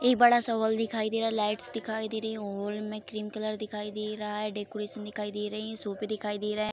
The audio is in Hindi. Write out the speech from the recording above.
एक बड़ा-सा हॉल दिखाई दे रहा लाइट्स दिखाई दे रही है हॉल में ग्रीन कलर दिखाई दे रहा है डेकोरेशन दिखाई दे रहीं सोफे दिखाई दे रहा हे।